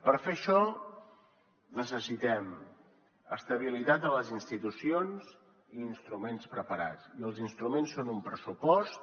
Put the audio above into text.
per fer això necessitem estabilitat a les institucions i instruments preparats i els instruments són un pressupost